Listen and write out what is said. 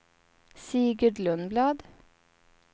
Sigurd Lundblad